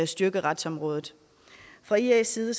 styrke retsområdet fra ias side